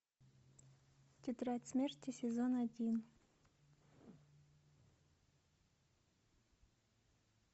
тетрадь смерти сезон один